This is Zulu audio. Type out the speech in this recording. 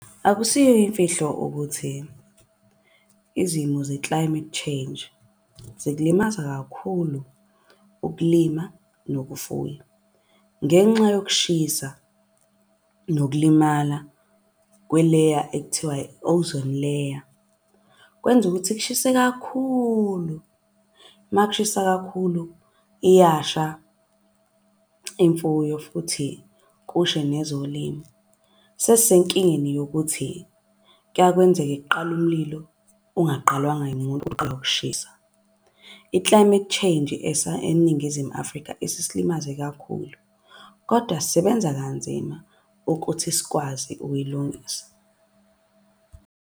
Akusiyo imfihlo ukuthi izimo ze-climate change zikulimaza kakhulu ukulima nokufuna. Ngenxa yokushisa nokulimala kweleya ekuthiwa i-ozone layer. Kwenza ukuthi kushise kakhulu makushisa kakhulu, iyasha imfuyo futhi kusha nezolimo. Sesisenkingeni yokuthi kuyakwenzeke kuqale umlilo ungaqalwanga yimuntu ukushisa. I-climate change eNingizimu Afrika isisilimaze kakhulu, kodwa sisebenza kanzima ukuthi sikwazi ukuyilungisa.